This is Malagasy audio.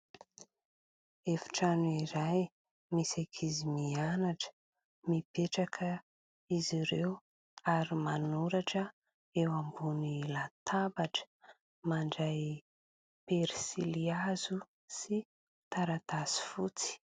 Efitrano iray misy ankizy mianatra. Mipetraka izy ireo ary manoratra eo ambony latabatra, mandray pensily hazo sy taratasy fotsy.